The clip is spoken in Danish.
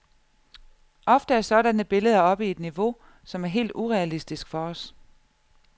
Ofte er sådanne billeder oppe i et niveau, som er helt urealistisk for os.